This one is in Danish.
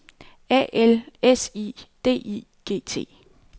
A L S I D I G T